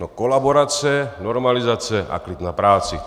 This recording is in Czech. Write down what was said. No kolaborace, normalizace a klid na práci.